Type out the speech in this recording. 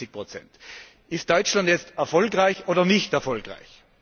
55 Ist Deutschland jetzt erfolgreich oder nicht erfolgreich?